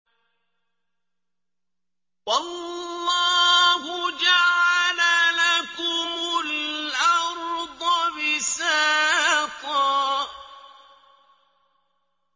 وَاللَّهُ جَعَلَ لَكُمُ الْأَرْضَ بِسَاطًا